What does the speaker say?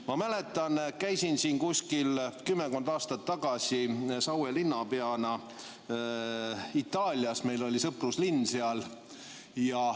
Ma mäletan, käisin kümmekond aastat tagasi Saue linnapeana Itaalias, meil oli seal sõpruslinn.